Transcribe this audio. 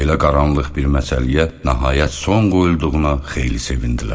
Belə qaranlıq bir məsələyə nəhayət son qoyulduğuna xeyli sevindilər.